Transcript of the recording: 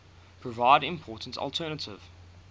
provide important alternative